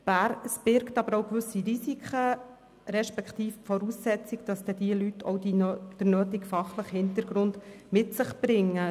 Dies birgt aber auch gewisse Risiken respektive setzt voraus, dass diese Leute dann auch den nötigen fachlichen Hintergrund mit sich bringen.